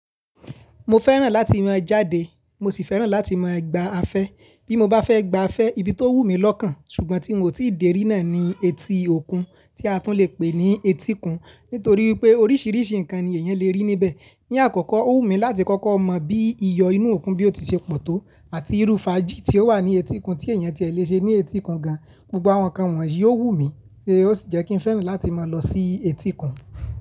Mo fẹ́ràn láti mọ jáde, mo sì fẹ́ràn láti ma gba afẹ́. Bí mo bá fẹ́ gba afẹ́, ibi tó wù mí lọ́kàn ṣùgbọ́n tí mo ti dèrí náà ni etí òkun tí a tún le pè ní etíkun nítorí wípé oríṣìíríṣìí ǹkan ni èèyàn lè rí níbẹ̀. Ni àkọ́kọ́, ó wù mí láti kọ́kọ́ mọ bí iyọ inú òkun bí ó ti ṣe pọ̀ tó àti irú faají tí ó wà ní etíkun tí èèyàn ti é lè ṣe ní etíkun gan. Gbogbo àwọn nǹkan wọ̀nyí ó wù mí ní ó sì jẹ́ kí n fẹ́ràn láti máa lọ sí etíkun.